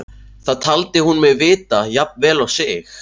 Það taldi hún mig vita jafn vel og sig.